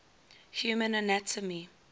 human anatomy